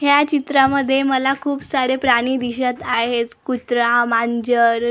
ह्या चित्रामध्ये मला खूप सारे प्राणी दिसत आहेत कुत्रा मांजर--